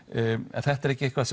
en þetta er ekki eitthvað